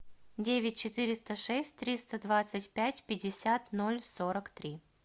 девять четыреста шесть триста двадцать пять пятьдесят ноль сорок три